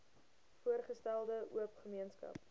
voorgestelde oop gemeenskap